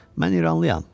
Mən İranlıyam.